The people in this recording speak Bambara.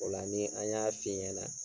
Ola ni an y'a f'i ɲana